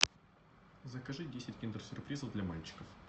закажи десять киндер сюрпризов для мальчиков